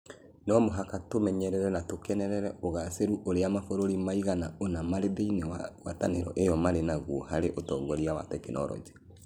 No mũhaka tũmenye na tũkenere ũgaacĩru ũrĩa mabũrũri maigana ũna marĩ thĩinĩ wa ngwatanĩro ĩyo marĩ naguo harĩ ũtongoria wa tekinolonjĩ.